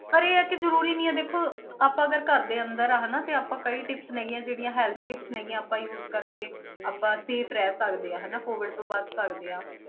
ਪਰ ਇਹ ਹੈ ਕਿ ਜ਼ਰੂਰੀ ਨਹੀਂ ਹੈ ਦੇਖੋ ਆਪਾਂ ਅਗਰ ਘਰਦੇ ਅੰਦਰ ਆ ਹਨਾ ਤੇ ਆਪਾਂ ਕਈ tips ਹੈਗੀਆਂ ਜਿਹੜੀਆਂ health tips ਹੈਗੀਆਂ ਆਪਾਂ use ਕਰਕੇ ਆਪਾਂ safe ਰਹਿ ਸਕਦੇ ਹਾਂ ਹਨਾ COVID ਤੋਂ ਬਚ ਸਕਦੇ ਹਾਂ।